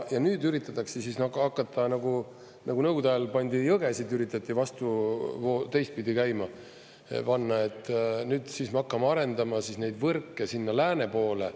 Ja nüüd üritatakse hakata, nagu Nõukogude ajal pandi jõgesid, üritati vastu, teistpidi käima panna, nüüd siis me hakkame arendama neid võrke sinna lääne poole.